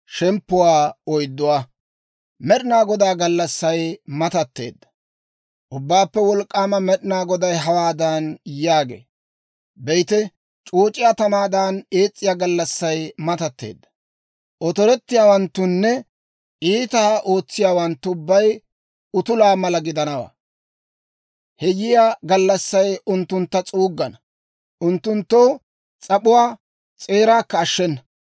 Ubbaappe Wolk'k'aama Med'ina Goday hawaadan yaagee; «Be'ite, c'ooc'iyaa tamaadan ees's'iyaa gallassay matatteedda; otorettiyaawanttunne iitaa ootsiyaawanttu ubbay utulaa mala gidanawaa. He yiyaa gallassay unttuntta s'uuggana; unttunttoo s'ap'uwaa s'eeraakka ashshenna.